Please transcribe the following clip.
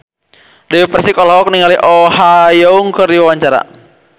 Dewi Persik olohok ningali Oh Ha Young keur diwawancara